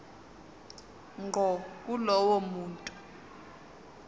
ngqo kulowo muntu